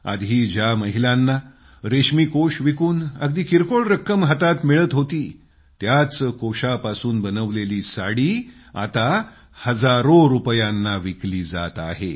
आधी ज्या महिलांना कोकून विकून अगदी किरकोळ रक्कम हातात मिळत होती त्याच कोकूनपासून बनवलेली साडी आता हजारो रुपयांमध्ये विकली जात आहे